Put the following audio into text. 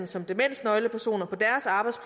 som demensnøglepersoner på